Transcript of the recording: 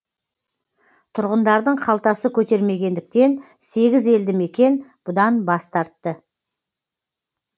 тұрғындардың қалтасы көтермегендіктен сегіз елді мекен бұдан бас тартты